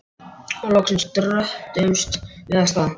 Og loksins dröttuðumst við af stað.